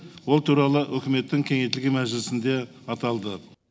ол туралы үкіметтің кеңейтілген мәжілісінде аталды